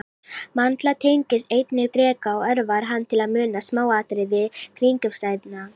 Mandla tengist einnig dreka og örvar hann til að muna smáatriði kringumstæðna.